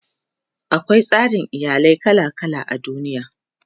akwai tsarin iyalai kala kala a duniya